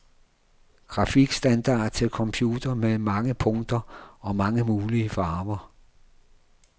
Grafikstandard til computer med mange punkter og mange mulige farver.